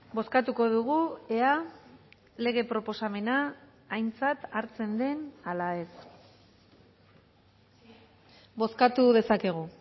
bozkatuko dugu ea lege proposamena aintzat hartzen den ala ez bozkatu dezakegu